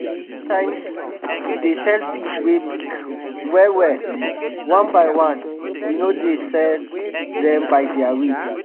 sometimes we dey sell fish wey big well well one by one we no dey sell dem by their weight.